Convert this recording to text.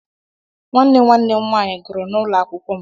Nwanne nwanne m nwaanyị gụrụ n'ụlọ akwụkwọ m.